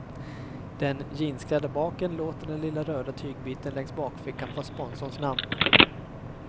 Den jeansklädda baken låter den lilla röda tygbiten längs bakfickan få sponsorns namn.